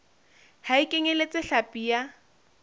ha e kenyeletse hlapi ya